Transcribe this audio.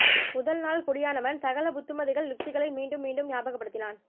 முதல் நாள் குடியானவன் சகல புத்திமதி கள் யுக்திகளை மீண்டும் மீண்டும் ஞாபக படுத்தினான்